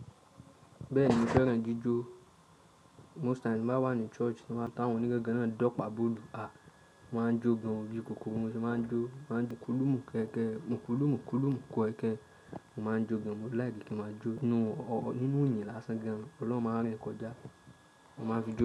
Bẹ́ẹ̀ni mo fẹ́ràn jíjó. Most time tí mo bá wà ní church, tí wọ́n bá tawon ònígangan náà dọ́pàá bólu, ah, mo máa ń jó gan o, bíi kokoro ni mo ṣe máa ń jó, mo máa ń mukulu mu kẹẹkẹ, mukulu mukulu mu keẹkẹ. Mo máa ń jó gan, mo like kí n máa jó nínú iyìn lásán gan. Ọlọ́run máa rìn kọjá, mo máa ń fi jó.